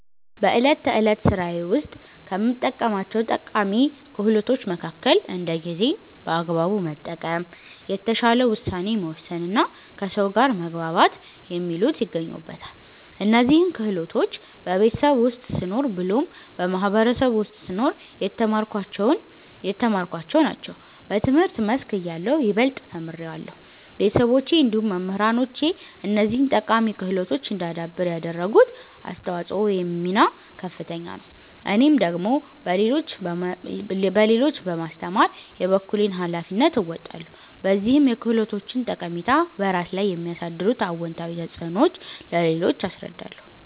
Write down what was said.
በእለት ተዕለት ስራዬ ውስጥ ከምጠቀማቸው ጠቃሚ ክህሎቶች መከከል እንደ ጊዜን በአግባቡ መጠቀም፣ የተሻለ ውሳኔ መወሰንና ከሰው ጋር መግባባት የሚሉት ይገኙበታል። እነዚህን ክህሎቶች በቤተሰብ ውስጥ ስኖር ብሎም በማህበረሰቡ ውስጥ ስኖር የተማርኳቸውን ናቸው። በትምህርት መስክ እያለሁ ይበልጥ ተምሬያለሁ። ቤተሰቦቼ እንዲሁም መምህራኖቼ እነዚህን ጠቃሚ ክህሎቶች እዳዳብር ያደረጉት አስተዋጽኦ ወይም ሚና ከፍተኛ ነው። እኔም ደግሞ ለሌሎች በማስተማር የበኩሌን ሀላፊነት እወጣለሁ። በዚህም የክህሎቶችን ጠቃሚታ፤ በራስ ላይ የሚያሳድሩት አወንታዊ ተፅዕኖዎች ለሌሎች አስረዳለሁ።